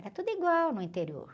Era tudo igual no interior.